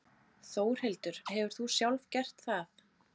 Þórhildur: Hefur þú sjálf gert það?